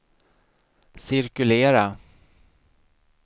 cirkulera